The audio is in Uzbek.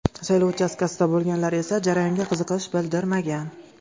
Saylov uchastkasida bo‘lganlari esa jarayonga qiziqish bildirmagan.